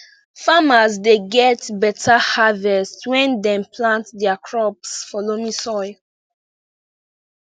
farmers dey get beta harvest when dem plant their crops for loamy soil